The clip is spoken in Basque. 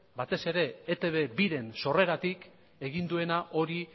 batez ere eitb biren sorreratik egin duena hori